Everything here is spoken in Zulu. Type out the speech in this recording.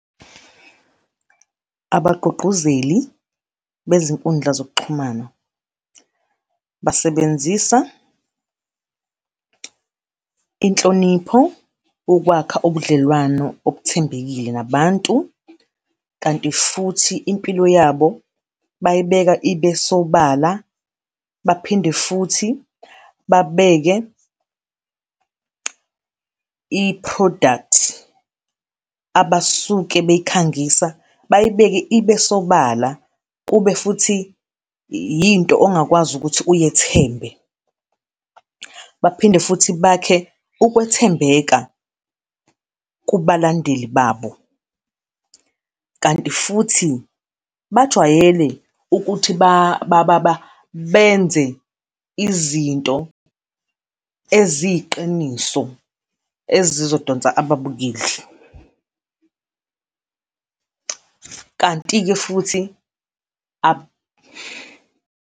Abagqugquzeli bezinkundla zokuxhumana basebenzisa inhlonipho ukwakha ubudlelwano obuthembekile nabantu, kanti futhi impilo yabo bayayibeka ibe sobala, baphinde futhi babeke i-product abasuke beyikhangisa, bayibeke ibe sobala. Kube futhi yinto ongakwazi ukuthi uyithembe. Baphinde futhi bakhe ukwethembeka kubalandeli babo. Kanti futhi bajwayele ukuthi benze izinto eziyiqiniso, ezizodonsa ababukeli. Kanti-ke futhi .